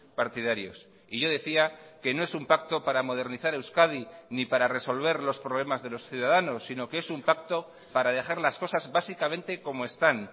partidarios y yo decía que no es un pacto para modernizar euskadi ni para resolver los problemas de los ciudadanos sino que es un pacto para dejar las cosas básicamente como están